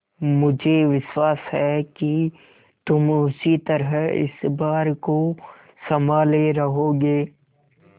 मुझे विश्वास है कि तुम उसी तरह इस भार को सँभाले रहोगे